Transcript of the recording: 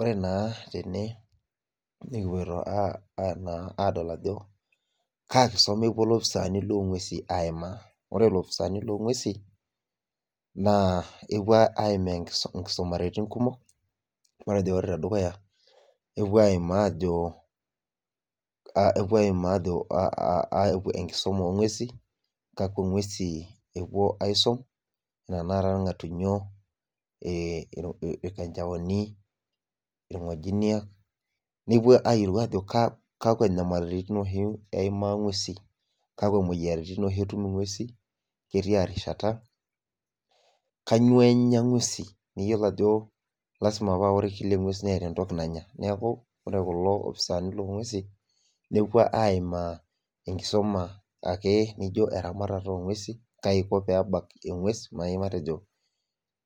Oree naa tene nikipoito aadol ajo kaa kisuma epuo ilopisani loongwesin aimaa ore ilopisani loongwesin naa epuo aimaa inkisumaritin kumok matejo ore tedukuya nepuo aima ajo enkisuma oo ngwesin kakua ngwesin epuo aisum anaa tanakata ilngatunyo, ilkanjaoni ,ilngojiniak neepuo ayiolou ajoo kakua nyamalitin oshii eimaa ngwesin , kakua imoyiaritin oshii eimaa ngwesin kaatia rishata , kanyio enyaa ingwesin neyiolo ajo lasima paa kila engwes neeta entoki nanyaa neeku ore kulo opisani loongwesin nepuo aima enkisuma nijoo erabatata oo ngwesin kaji eiko peebak engwes naaji matejo